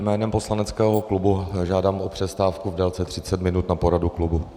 Jménem poslaneckého klubu žádám o přestávku v délce 30 minut na poradu klubu.